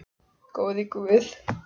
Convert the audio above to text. Góði Guð.